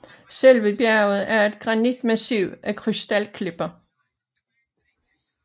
Selve bjerget er et granitmassiv af krystalklipper